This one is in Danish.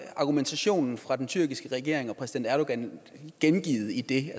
argumentationen fra den tyrkiske regering og præsident erdogan gengivet i det